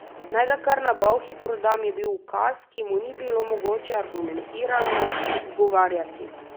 Naj ga kar na Bolhi prodam, je bil ukaz, ki mu ni bilo mogoče argumentirano ugovarjati.